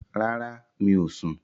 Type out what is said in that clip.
Rárá, mi ò sun